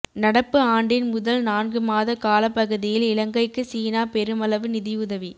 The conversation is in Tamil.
நடப்பு ஆண்டின் முதல் நான்கு மாத காலப்பகுதியில் இலங்கைக்கு சீனா பெருமளவு நிதியுதவி